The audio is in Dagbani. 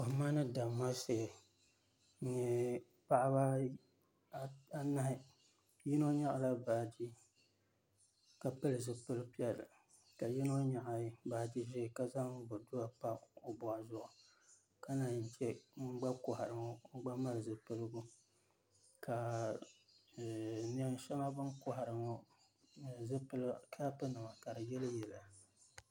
Kohima ni damma shee. N nye paɣaba anahi. Yino nyaɣ'la baaji ka pil zipil pielli ka yino nyaɣ baaji ʒee ka zaŋ boduwa pa o boɣa zuɣu ka naan yi che ŋun gba kohari ŋo o gba mali zipiligu ka neen sheŋa bɛ ni kohari ŋo, n nye zipila kapunima ka di yili yiliya